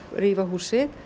rífa húsið